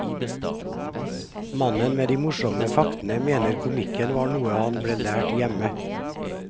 Mannen med de morsomme faktene mener komikken var noe han ble lært hjemme.